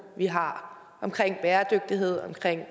vi har omkring bæredygtighed omkring